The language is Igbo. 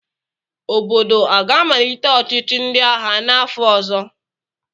Obodo a ga-amalite ọchịchị ndị agha n'afọ ọzọ?